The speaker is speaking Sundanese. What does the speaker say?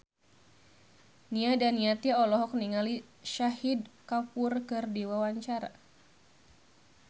Nia Daniati olohok ningali Shahid Kapoor keur diwawancara